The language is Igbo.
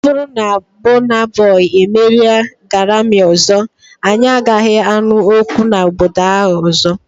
Ọ bụrụ na Bona boi emerie Garami ọzọ, anyị agaghị anụ okwu na obodo a ọzọ.